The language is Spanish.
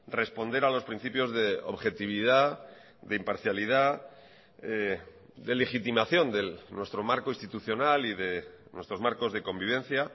responder a los principios de objetividad de imparcialidad de legitimación de nuestro marco institucional y de nuestros marcos de convivencia